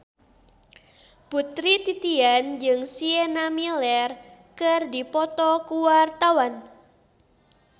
Putri Titian jeung Sienna Miller keur dipoto ku wartawan